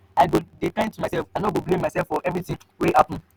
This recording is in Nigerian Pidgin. i go dey kind to myself i no go blame myself for everytin wey happen.